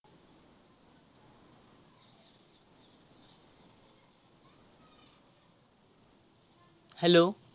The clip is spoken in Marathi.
Hello